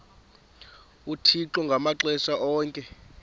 uthixo ngamaxesha onke